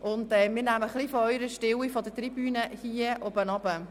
Wir nehmen ein bisschen von dieser Stille hier im Saal auf.